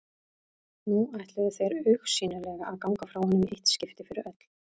Nú ætluðu þeir augsýnilega að ganga frá honum í eitt skipti fyrir öll.